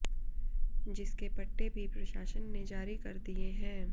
जिसके पट्टे भी प्रशासन ने जारी कर दिए है